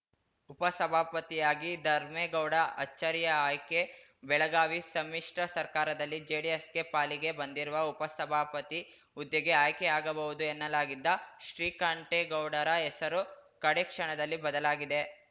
ಉಪಸಭಾಪತಿಯಾಗಿ ಧರ್ಮೇಗೌಡ ಅಚ್ಚರಿಯ ಆಯ್ಕೆ ಬೆಳಗಾವಿ ಸಮ್ಮಿಶ್ರ ಸರ್ಕಾರದಲ್ಲಿ ಜೆಡಿಎಸ್‌ಗೆ ಪಾಲಿಗೆ ಬಂದಿರುವ ಉಪಸಭಾಪತಿ ಹುದ್ದೆಗೆ ಆಯ್ಕೆಯಾಗಬಹುದು ಎನ್ನಲಾಗಿದ್ದ ಶ್ರೀಕಂಠೇಗೌಡರ ಹೆಸರು ಕಡೇಕ್ಷಣದಲ್ಲಿ ಬದಲಾಗಿದೆ